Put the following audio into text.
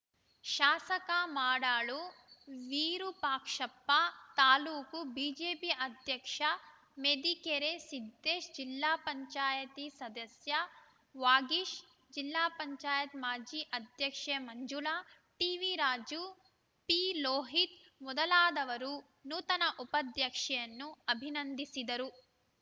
ಶಾಸಕ ಮಾಡಾಳು ವಿರೂಪಾಕ್ಷಪ್ಪ ತಾಲೂಕು ಬಿಜೆಪಿ ಅಧ್ಯಕ್ಷ ಮೆದಿಕೆರೆ ಸಿದ್ದೇಶ್‌ ಜಿಲ್ಲಾ ಪಂಚಾಯತಿ ಸದಸ್ಯ ವಾಗೀಶ್‌ ಜಿಲ್ಲಾ ಪಂಚಾಯತ್ ಮಾಜಿ ಅಧ್ಯಕ್ಷೆ ಮಂಜುಳಾ ಟಿವಿರಾಜು ಪಿಲೋಹಿತ್‌ ಮೊದಲಾದವರು ನೂತನ ಉಪಾಧ್ಯಕ್ಷೆಯನ್ನುಅಭಿನಂಧಿಸಿದರು